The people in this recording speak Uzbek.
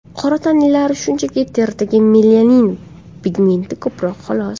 Qora tanlilarda, shunchaki, teridagi melanin pigmenti ko‘proq xolos.